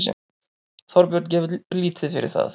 Þorbjörn gefur lítið fyrir það.